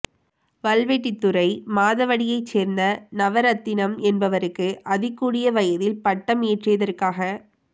வல்வெட்டித்துறை மாதவடியைச் சேர்ந்த நவரத்தினம் என்பவருக்கு அதிகூடிய வயதில் பட்டம் ஏற்றியதற்காக